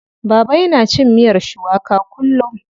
Baba yana cin miyar shuwaka kullum.